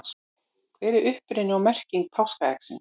hver er uppruni og merking páskaeggsins